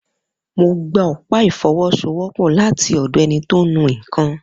Mo gba ọ̀pá ìfọwọ́sowọ́pọ̀ láti ọ̀dọ̀ ẹni tó ń nu nkan.